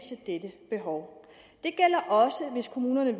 dette behov det gælder også hvis kommunerne